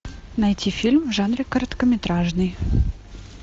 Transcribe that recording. найти фильм в жанре короткометражный